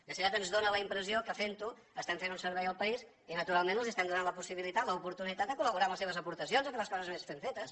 més aviat ens dóna la impressió que fent ho estem fent un servei al país i naturalment els estem donant la possibilitat l’oportunitat de col·laborar amb les seves aportacions a fer les coses més ben fetes